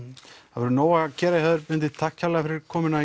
það verður nóg að gera hjá þér Benedikt takk kærlega fyrir komuna